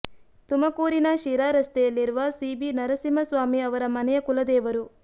ತುಮಕೂರಿನ ಶಿರಾ ರಸ್ತೆಯಲ್ಲಿರುವ ಸೀಬಿ ನರಸಿಂಹ ಸ್ವಾಮಿ ಅವರ ಮನೆಯ ಕುಲದೇವರು